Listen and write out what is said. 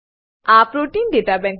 આ પ્રોટીન દાતા બેન્ક